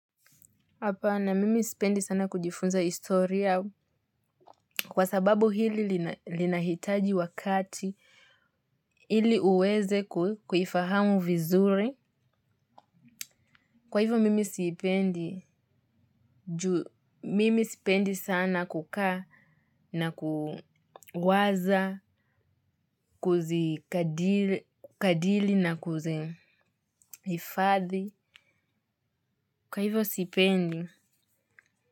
Hapana, mimi sipendi sana kujifunza historia kwa sababu hili linahitaji wakati ili uweze kuifahamu vizuri. Kwa hivyo, mimi sipendi sana kukaa na kuwaza kuzikadiri na kuzihifadhi. Kwa hivyo, sipendi.